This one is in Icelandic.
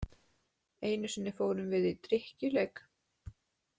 Einu sinni fórum við í drykkjuleik.